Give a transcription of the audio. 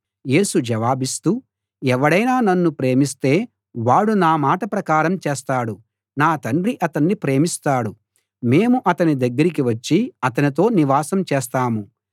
యేసు జవాబిస్తూ ఎవడైనా నన్ను ప్రేమిస్తే వాడు నా మాట ప్రకారం చేస్తాడు నా తండ్రి అతణ్ణి ప్రేమిస్తాడు మేము అతని దగ్గరికి వచ్చి అతనితో నివాసం చేస్తాము